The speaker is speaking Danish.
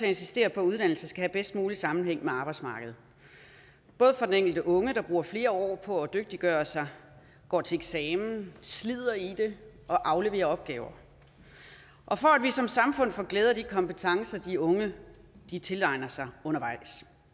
insistere på at uddannelse skal have bedst mulig sammenhæng med arbejdsmarkedet både for den enkelte unge der bruger flere år på at dygtiggøre sig går til eksamen slider i det og afleverer opgaver og for at vi som samfund får glæde af de kompetencer de unge tilegner sig undervejs